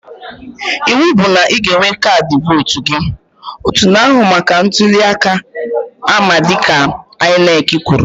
Ịwụ bụ na ị ga-enwe kaadị vootu gị! Otu na-ahụ maka ntụli aka ama dịka INEC kwuru